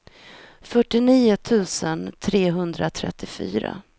fyrtionio tusen trehundratrettiofyra